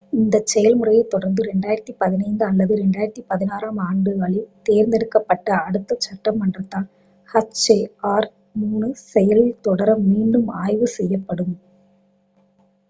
இந்த செயல்முறையைத் தொடர்ந்து 2015 அல்லது 2016 ஆம் ஆண்டுகளில் தேர்ந்தெடுக்கப்பட்ட அடுத்த சட்டமன்றத்தால் hjr-3 செயலில் தொடர மீண்டும் ஆய்வு செய்யப்படும்